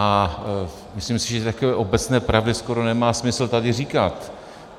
A myslím si, že takové obecné pravdy skoro nemá smysl tady říkat.